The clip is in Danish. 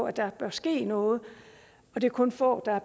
at der bør ske noget det er kun få af